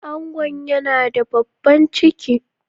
Angon yana da babban ciki.